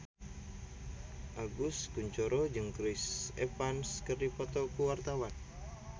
Agus Kuncoro jeung Chris Evans keur dipoto ku wartawan